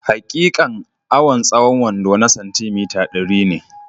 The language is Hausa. Hakikan awan tsahon wando na santi mita, dari ne